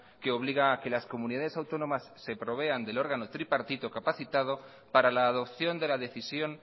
que obliga a que las comunidades autónomas se provean del órgano tripartito capacitado para la adopción de la decisión